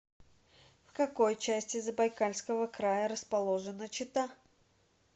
в какой части забайкальского края расположена чита